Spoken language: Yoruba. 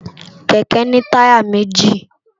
Kèkè ni tàyá méji